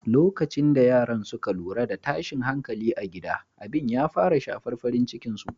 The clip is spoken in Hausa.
Lokacin da yaran suka lura da tashin hankali a gida, abin ya fara shafar farin cikin su.